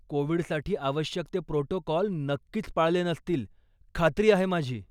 कोविडसाठी आवश्यक ते प्रोटोकॉल नक्कीच पाळले नसतील, खात्री आहे माझी.